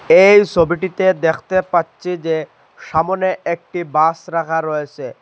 এই সবিটিতে দেখতে পাচ্ছি যে সামনে একটি বাস রাখা রয়েছে।